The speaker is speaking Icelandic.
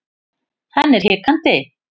Hann er hikandi.